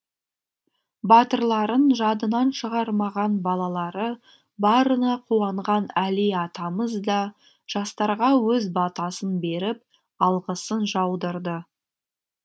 батырларын жадынан шығармаған балалары барына қуанған әли атамыз да жастарға өз батасын беріп алғысын жаудырды